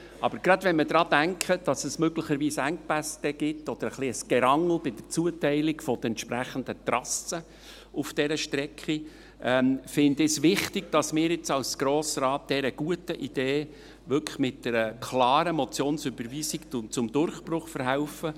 Aber gerade wenn wir daran denken, dass es möglicherweise Engpässe geben wird oder ein bisschen ein Gerangel bei der Zuteilung der entsprechenden Trassen auf dieser Strecke, finde ich es wichtig, dass wir als Grosser Rat dieser guten Idee mit einer klaren Motionsüberweisung zum Durchbruch verhelfen.